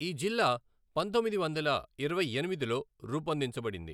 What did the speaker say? ఈ జిల్లా పంతొమ్మిది వందల ఇరవై ఎనిమిదిలో రూపొందించబడింది.